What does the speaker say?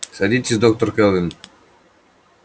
садитесь доктор кэлвин